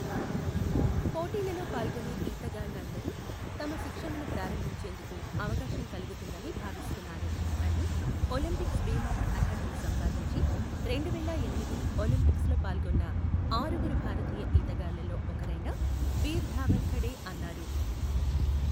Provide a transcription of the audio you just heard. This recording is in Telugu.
పోటీలలో పాల్గొనే ఈతగాళ్లు అందరూ తమ శిక్షణను ప్రారంభించేందుకు అవకాశం కలుగుతుందని భావిస్తున్నాను అని, ఒలింపిక్స్ బి మార్క్ అర్హతను సంపాదించి, రెండువేల ఎనిమిది ఒలింపిక్స్లో పాల్గొన్న ఆరుగురు భారతీయ ఈతగాళ్ళల్లో ఒకరైన వీర్ ధావల్ ఖడే అన్నారు.